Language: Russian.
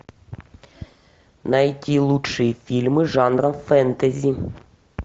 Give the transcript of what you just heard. найти лучшие фильмы жанра фэнтези